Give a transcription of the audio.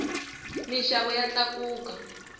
mixava ya takuka